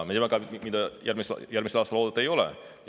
Ja mida järgmisel aastal oodata ei ole?